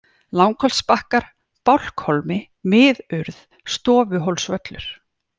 Langholtsbakkar, Bálkhólmi, Miðurð, Stofuhólsvöllur